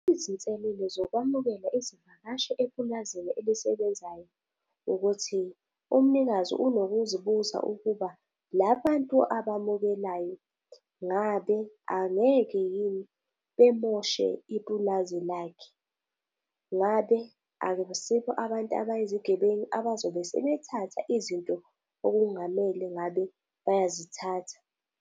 Izinselele zokwemukela izivakashi epulazini elisebenzayo ukuthi umnikazi unokuzibuza ukuba la bantu abamukelayo ngabe angeke yini bemoshe ipulazi lakhe. Ngabe akusikho abantu abayizigebeni abazobe sebethatha izinto okungamele ngabe bayazithatha.